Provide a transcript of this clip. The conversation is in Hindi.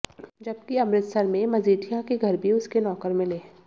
जबकि अमृतसर में मजीठिया के घर भी उसके नौकर मिले